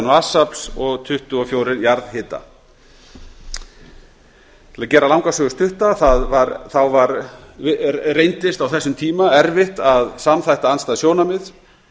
vatnsafls og tuttugu og fjögur jarðhita til að gera langa sögu stutta þá reyndist á þessum tíma erfitt að samþætta andstæð sjónarmið